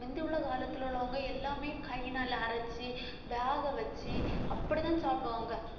முந்தி உள்ள காலத்துல உள்ளவங்க எல்லாமே கையினால அரைச்சு வேக வச்சு அப்படிதான் சாப்பிடுவாங்க